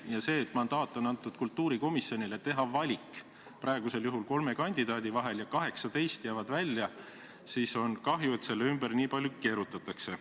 Ja et kultuurikomisjonile on antud mandaat teha valik praegusel juhul kolme kandidaadi kohta ja 18 jäävad välja, siis on kahju, et selle ümber nii palju keerutatakse.